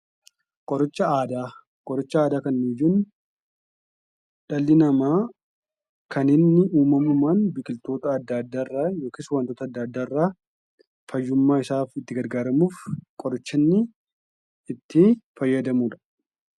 Qoricha aadaa qoricha aadaa kan nuti jennu dhalli namaa kan inni uumamumaan biqiltoota adda addaarraa yookiis wantoota adda addaarraa fayyummaa isaaf itti garagaaramuuf qoricha inni ittii fayyadamudha.